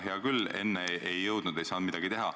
Hea küll, enne ei jõudnud või ei saanud midagi teha.